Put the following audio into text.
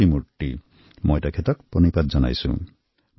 তেওঁক মই প্রণাম জনাইছোঁ